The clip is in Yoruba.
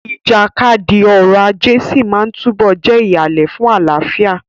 Ìjàkadì ọrọ̀ ajé sí máa túbọ̀ jẹ́ ìhàlẹ̀ fún àlàáfíà.